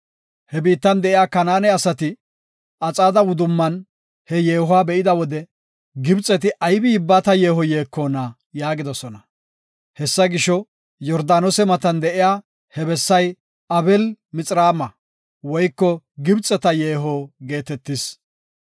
He biittan de7iya Kanaane asati Axaade wudumman he yeehuwa be7ida wode, “Gibxeti aybi yibbata yeeho yeekona?” yaagidosona. Hessa gisho, Yordaanose matan de7iya he bessay Abeel-Mixraama (Gibxeta Yeeho) geetetis.